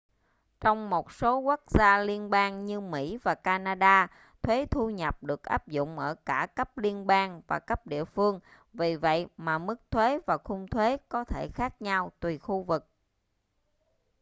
trong một số quốc gia liên bang như mỹ và canada thuế thu nhập được áp dụng ở cả cấp liên bang và cấp địa phương vì vậy mà mức thuế và khung thuế có thể khác nhau tùy khu vực